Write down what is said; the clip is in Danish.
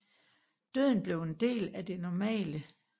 Døden blev en del af det normale